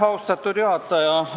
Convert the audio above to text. Austatud juhataja!